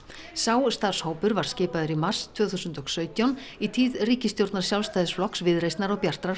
sá starfshópur var skipaður í mars tvö þúsund og sautján í tíð ríkisstjórnar Sjálfstæðisflokks Viðreisnar og Bjartrar